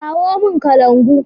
Kawo mun kalangu!